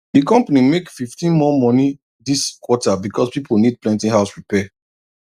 the company make 15 more money this quarter because people need plenty house repair